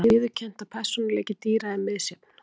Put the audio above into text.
Það er líka viðurkennt að persónuleiki dýra er misjafn.